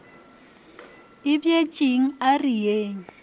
a bjetšeng a re yeng